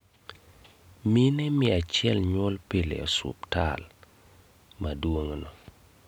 Mine mia achiel nyuol pile e osuptal. maduong' no